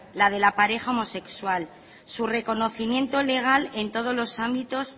la de la pareja homosexual su reconocimiento legal en todos los ámbitos